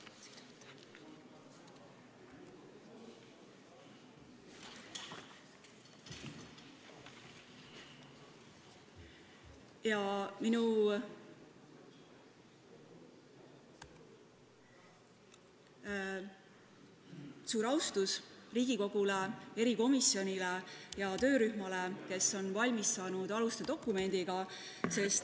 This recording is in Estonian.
Avaldan austust Riigikogu probleemkomisjonile ja töörühmale, kes on valmis saanud rahvastikupoliitika põhialuste dokumendi.